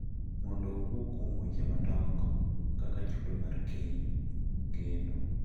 Mondo owuo kuom weche madongo kaka chudo mar keny, geno,